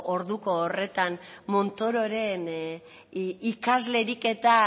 orduko horretan montororen ikaslerik